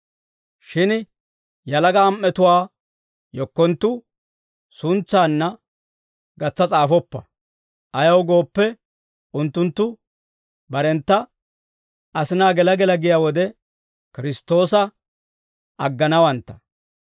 Shin yalaga am"etuwaa yekkonttu suntsaanna gatsa s'aafoppa. Ayaw gooppe, unttunttu barentta, asinaa gela gela giyaa wode, Kiristtoosa agganawantta.